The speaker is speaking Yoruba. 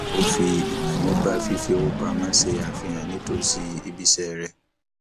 ó fi ìmọ nípa fífi owó pamọ ṣe àfihàn nítòsí ibi iṣẹ rẹ